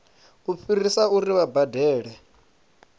u fhirisa uri vha badele